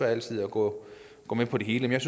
altid at gå med på det hele